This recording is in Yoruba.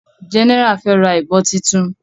General fe rà ìbọn títún.